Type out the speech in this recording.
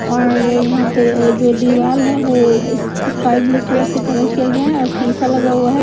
और यहाँ पे जो दीवाल है वो इस इस्काई ब्लू कलर से कलर किया गया है और शीशा लगा हुआ है।